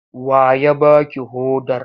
Wa ya ba ki hodar?